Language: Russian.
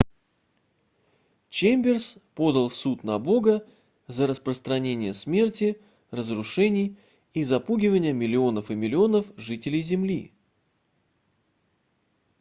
чемберс подал в суд на бога за распространение смерти разрушений и запугивания миллионов и миллионов жителей земли